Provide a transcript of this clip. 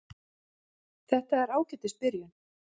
Þetta er ágætis byrjun.